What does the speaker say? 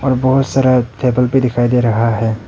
और बहुत सारा टेबल भी दिखाई दे रहा है।